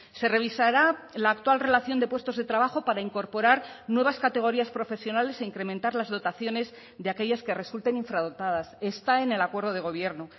se revisará la actual relación de puestos de trabajo para incorporar nuevas categorías profesionales e incrementar las dotaciones de aquellas que resulten infradotadas está en el acuerdo de gobierno